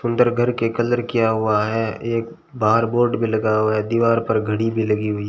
अंदर घर के कलर किया हुआ है एक बार बोर्ड भी लगा हुआ है दीवार पर घड़ी भी लगी हुई--